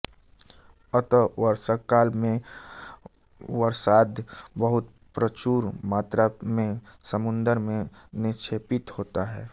अत वर्षाकाल में अवसाद बहुत प्रचुर मात्रा में समुद्र में निक्षेपित होता है